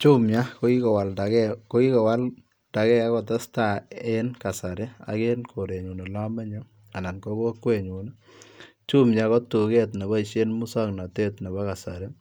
Jumia ko kikokwaldagei ago tesetai en kasari ii ak en korenyuun ole amenye ii anan ko kokweet nyuun ii Jumia ko tugeet nebaisheen musangnatet nebo kasari ii